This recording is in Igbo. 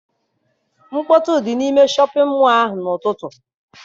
Mkpọtụ dị n'ime shọpịn mọọ ahụ n'ụtụtụ.